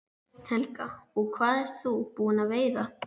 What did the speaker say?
Helga: Og hvað ert þú búin að veiða?